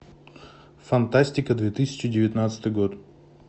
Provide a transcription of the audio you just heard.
фантастика две тысячи девятнадцатый год